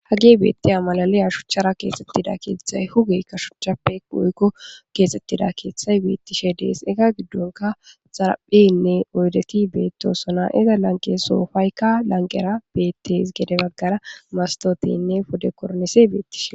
Hagi beettiya malaliya shuchchara keexettida kiitzay hugeykka shuchchappe oykko keexxettida keeththay beettishe dees ega giddonka xarapheynne oydeti beettosona iza lanqe soofayka lanqera beetteys gede baggara mastotiynne pude kornise beettishe.